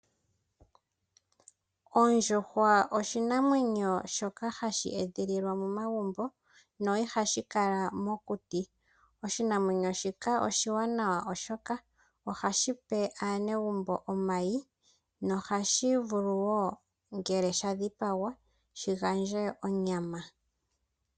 Ondjuhwa oshinamwenyo shoka hashi edhililwa momagumbo no ihashi kala mokuti, oshinamwenyo shika oshiwanawa oshoka ohashi pe aanegumbo omayi nohashi vulu woo ngele sha dhipagwa shi gandje onyama.